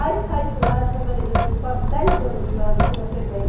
Aí, saí de lá, trabalhei depois quase dez anos na antiga Febem,